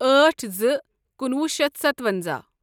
اٲٹھ زٕ کُنوُہ شیتھ سَتونٛزاہ